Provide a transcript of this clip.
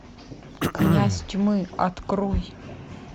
князь тьмы открой